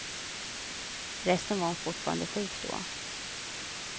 Förresten var hon fortfarande sjuk då.